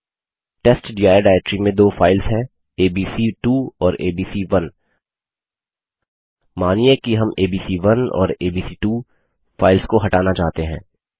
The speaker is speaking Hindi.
टेस्टडिर डाइरेक्टरी में दो फाइल्स हैं एबीसी2 और एबीसी1 मानिये कि हम एबीसी1 और एबीसी2 फाइल्स को हटाना चाहते हैं